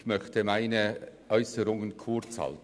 Ich möchte meine Äusserungen kurzhalten.